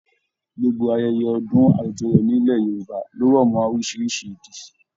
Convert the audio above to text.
Gbogbo ayẹyẹ ọdún àjọyọ̀ nílẹ̀ Yorùbá lo rọ mọ orísirísi ìdí.